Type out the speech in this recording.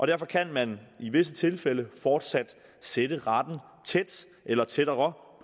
derfor kan man i visse tilfælde fortsat sætte retten tæt eller tættere